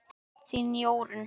Þín Jórunn.